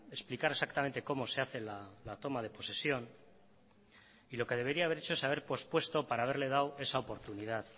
explicar exactamente cómo se hace la toma de posesión y lo que debería haber hecho es haber pospuesto para haberle dado esa oportunidad